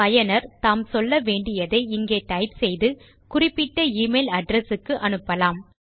பயனர் தாம் சொல்ல வேண்டியதை இங்கே டைப் செய்து குறிப்பிட்ட எமெயில் அட்ரெஸ் க்கு அனுப்பலாம்